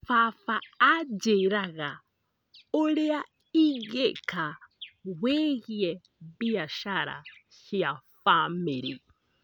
Baba anjĩraga ũrĩa ingĩka wĩgiĩ biacara cia bamĩrĩ.